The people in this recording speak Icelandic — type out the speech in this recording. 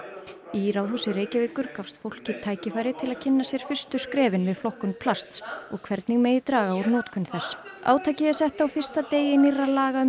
í Ráðhúsi Reykjavíkur gafst fólki tækifæri til að kynna sér fyrstu skrefin við flokkun plasts og hvernig megi draga úr notkun þess átakið er sett á fyrsta degi nýrra laga um